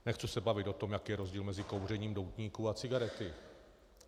Nechci se bavit o tom, jaký je rozdíl mezi kouřením doutníků a cigaret.